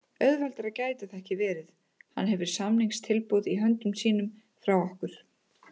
Auðveldara gæti það ekki verið. Hann hefur samningstilboð í höndum sínum frá okkur.